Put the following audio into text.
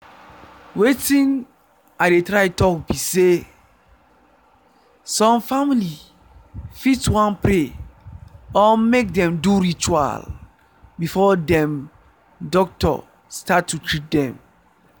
wetin i dey try talk be sey some family fit wan pray or make dem do ritual before dem doctor start to treat dem